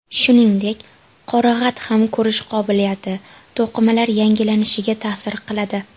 Shuningdek, qorag‘at ham ko‘rish qobiliyati, to‘qimalar yangilanishiga ta’sir qiladi.